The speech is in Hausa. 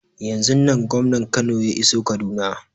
Yanzun nan gwamnan Kano ya iso kaduna